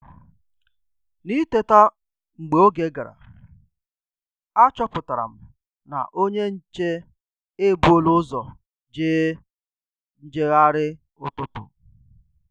N'ị́tétà mgbe oge gara, àchọ́pụ̀tàrà m na onye nchè èbùòlà ụ́zọ̀ jèè njègharị ụ́tụ́tụ́.